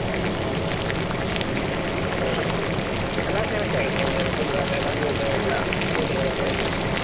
ಹ್ಮ್‌ last time ಎಷ್ಟಾಗಿತ್ತು ನಿಮ್ಗೆ ಅಲ್ಲಿ full ಅಂದ್ರೆ ಮದ್ವೆದು ಎಲ್ಲಾ shooting ಎಲ್ಲಾ ಸೇರ್ಸಿ ?